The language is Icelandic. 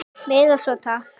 Meira svona, takk!